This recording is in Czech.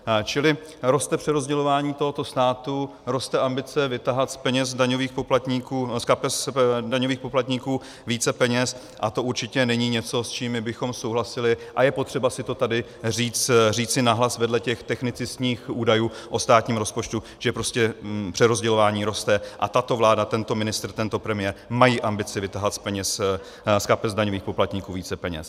Čili roste přerozdělování tohoto státu, roste ambice vytahat z kapes daňových poplatníků více peněz a to určitě není něco, s čím bychom souhlasili, a je potřeba si to tady říci nahlas vedle těch technicistních údajů o státním rozpočtu, že prostě přerozdělování roste a tato vláda, tento ministr, tento premiér mají ambici vytahat z kapes daňových poplatníků více peněz.